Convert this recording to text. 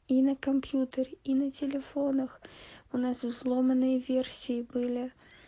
и на компьютере и на телефонах у нас взломанные версии были